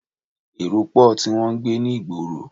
Èrò pò tí wọn ń gbé ní ìgboro.